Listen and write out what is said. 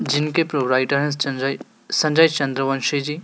जिनके प्रोवाइडर संजय संजय चंद्रवंशी जी--